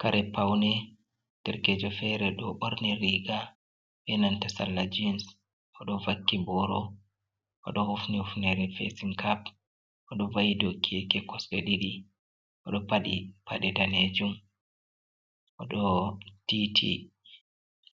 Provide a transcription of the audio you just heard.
Karepaune derkejo fere do borni riga enanta sarla jins, odo vakki boro, odo hufni ufnere frsin kap, odo vai do keke kosde didi, odo padi pade danejum, odo titi